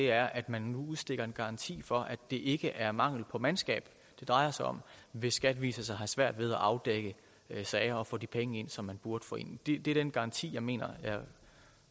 er at man nu udstikker en garanti for at det ikke er mangel på mandskab det drejer sig om hvis skat viser sig at have svært ved at afdække sager og få de penge ind som man burde få ind det er den garanti som jeg mener at